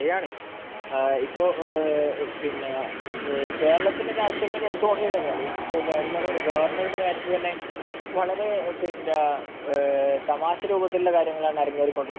ആഹ് ശരിയാണ് .. ഇപ്പോൾ കേരളത്തിന്റെ രാഷ്ട്രീയം എടുത്തുനോക്കിക്കഴിഞ്ഞാൽ ഗവര്ണരുടെ കാര്യത്തിൽ തന്നെ വളരെ തമാശ രൂപത്തിലുള്ള കാര്യങ്ങളാണ് അരങ്ങേറിക്കൊണ്ടിരിക്കുന്നത്